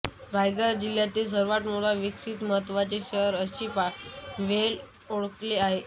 रायगड जिल्ह्यातील सर्वात मोठे विकसित व महत्त्वाचे शहर अशी पनवेलची ओळख आहे